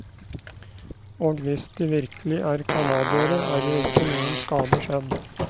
Og hvis de virkelig er canadiere er jo ikke noen skade skjedd.